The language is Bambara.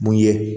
Mun ye